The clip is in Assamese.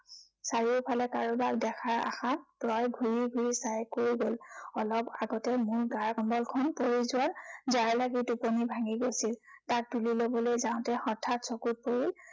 চাৰিওফালে কাৰোবাক দেখাৰ আশাত ৰয় ঘূৰি ঘূৰি চাই কৈ গল। অলপ আগতে মোৰ গাৰ কম্বলখন পৰি যোৱাত, জাঁৰ লাগি টোপনি ভাঙি গৈছিল। তাক তুলি লবলৈ যাঁওতে হঠাৎ চকুত পৰিল